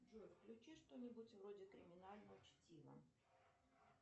джой включи что нибудь вроде криминального чтива